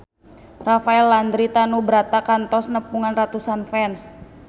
Rafael Landry Tanubrata kantos nepungan ratusan fans